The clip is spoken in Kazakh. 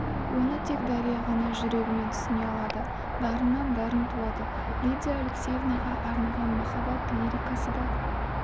оны тек дария ғана жүрегімен түсіне алады дарыннан дарын туады лидия алексеевнаға арнаған махаббат лирикалары да